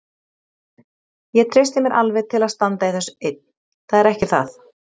Ég treysti mér alveg til að standa í þessu einn, það er ekki það.